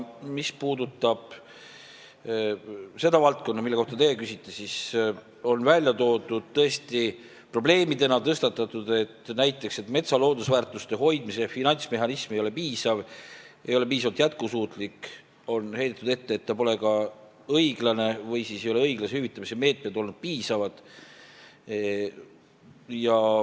Mis puudutab seda valdkonda, mille kohta teie küsite, siis välja on toodud ja probleemina tõstatatud näiteks see, et metsa loodusväärtuste hoidmise finantsmehhanism ei ole piisav, see ei ole piisavalt jätkusuutlik, on heidetud ette, et see pole ka õiglane või ei ole õiglase hüvitamise meetmed olnud piisavad.